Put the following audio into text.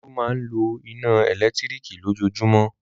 Olú máa ń lo iná ẹ̀lẹ́tíríkì lójoojúmọ́.